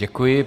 Děkuji.